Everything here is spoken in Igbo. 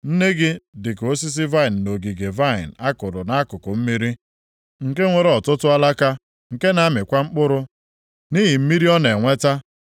“ ‘Nne gị dịka osisi vaịnị nʼogige vaịnị a kụrụ nʼakụkụ mmiri, nke nwere ọtụtụ alaka, nke na-amịkwa mkpụrụ nʼihi mmiri ọ na-enweta.